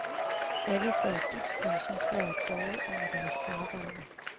Alle sad dybt koncentreret bøjet over deres arbejde.